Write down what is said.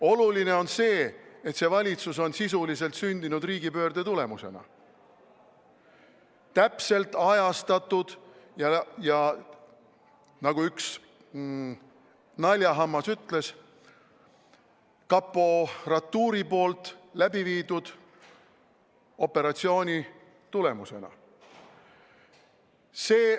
Oluline on see, et see valitsus on sisuliselt sündinud riigipöörde tulemusena – täpselt ajastatud ja nagu üks naljahammas ütles, kaporatuuri poolt läbi viidud operatsiooni tulemusena.